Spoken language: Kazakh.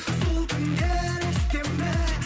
сол түндер есте ме